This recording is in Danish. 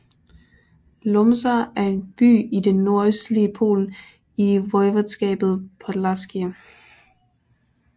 Łomża er en by i det nordøstlige Polen i voivodskabet podlaskie